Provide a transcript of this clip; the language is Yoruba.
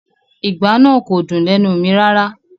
Ìgbá náà kò dùn lẹ́nu mi rárá